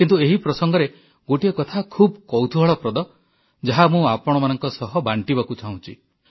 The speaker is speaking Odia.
କିନ୍ତୁ ଏହି ପ୍ରସଙ୍ଗରେ ଗୋଟିଏ କଥା ଖୁବ୍ କୌତୁହଳପ୍ରଦ ଯାହା ମୁଁ ଆପଣମାନଙ୍କ ସହ ବାଂଟିବାକୁ ଚାହୁଁଛି